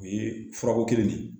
O ye furako kelen de ye